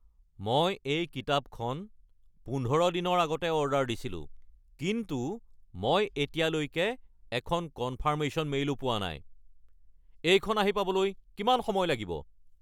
মই এই কিতাপখন পোন্ধৰ দিনৰ আগতে অৰ্ডাৰ দিছিলোঁ কিন্তু মই এতিয়ালৈকে এখন কনফাৰ্মেশ্যন মেইলো পোৱা নাই। এইখন আহি পাবলৈ কিমান সময় লাগিব?